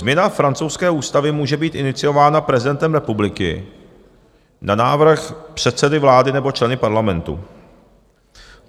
Změna francouzské ústavy může být iniciována prezidentem republiky na návrh předsedy vlády nebo členy parlamentu.